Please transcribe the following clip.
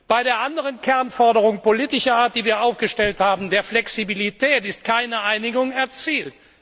Bei der anderen Kernforderung politischer Art, die wir aufgestellt haben, der Flexibilität, wurde keine Einigung erzielt.